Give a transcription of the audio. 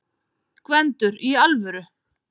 GVENDUR: Í alvöru?